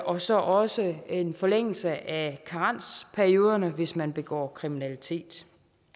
og så også en forlængelse af karensperioderne hvis man begår kriminalitet